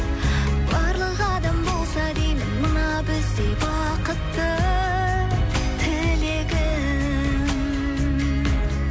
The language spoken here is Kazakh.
барлық адам болса деймін мына біздей бақытты тілегім